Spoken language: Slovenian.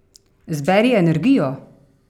Zberi energijo!